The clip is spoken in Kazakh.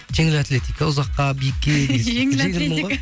жеңіл атлетика ұзаққа биікке жеңіл атлетика